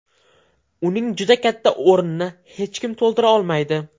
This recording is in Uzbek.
Uning juda katta o‘rnini hech kim to‘ldirolmaydi.